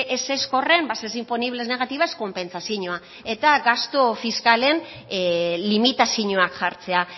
ezezko horren bases imponibles negativas konpentsazioa eta gastu fiskalen limitazioak jartzea